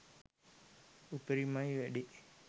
උපරිමයි වැඩේ